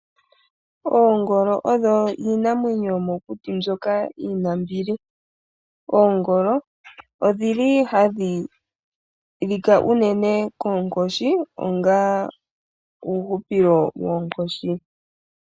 Oongolo odho iinamwenyo yomokuti mbyoka yina ombili. Oongolo odhili hadhi lika uunene koonkoshi onga uuhupilo woonkoshi.